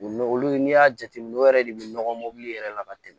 U n'o olu n'i y'a jateminɛ o yɛrɛ de bɛ nɔgɔ mobili yɛrɛ la ka tɛmɛ